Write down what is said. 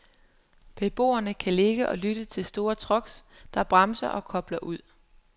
Beboerne kan ligge og lytte til store trucks, der bremser og kobler ud.